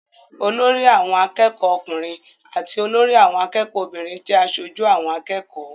Olórí àwọn akẹ́kọ̀ọ́ ọkùnrin àti olórí àwọn akẹ́kọ̀ọ́ obìnrin jẹ́ aṣojú àwọn akẹ́kọ̀ọ́.